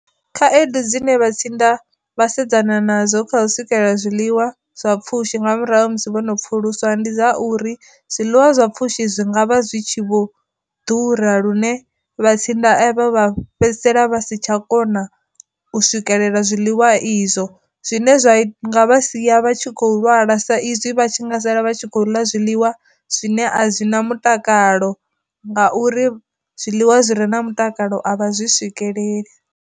Khaedu dzine vha tsinda vha sedzana nadzo kha swikelela zwiḽiwa zwa pfhushi nga murahu musi vhono pfuluswa ndi dza uri, zwiḽiwa zwa pfushi zwi ngavha zwi tshi vho ḓura lune vha tsinda avha vha fhedzisela vha si tsha kona u swikelela zwiḽiwa izwo, zwine zwa vha sia vha tshi khou lwala sa izwi vha tshi nga sala vha tshi khou ḽa zwiḽiwa zwine a zwi na mutakalo ngauri zwiḽiwa zwi re na mutakalo avha zwi swikeleli.